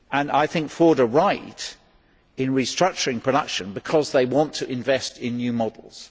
I think Ford are right in restructuring production because they want to invest in new models.